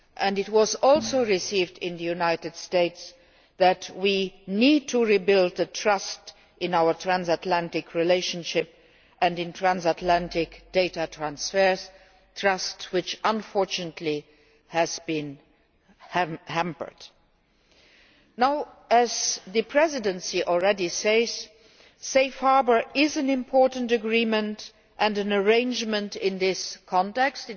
It was also made clear in the United States that we need to rebuild trust in our transatlantic relationship and in transatlantic data transfers a trust which, unfortunately, has been eroded. As the Presidency has already said, Safe Harbour is an important agreement and an arrangement in this context.